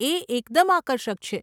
એ એકદમ આકર્ષક છે.